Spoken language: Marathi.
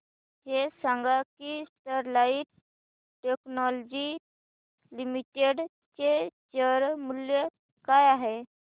हे सांगा की स्टरलाइट टेक्नोलॉजीज लिमिटेड चे शेअर मूल्य काय आहे